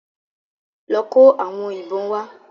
Lọ kó àwọn ìbọn wá.